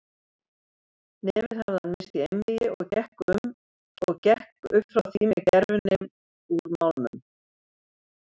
Nefið hafið hann missti í einvígi og gekk upp frá því með gervinef úr málmum.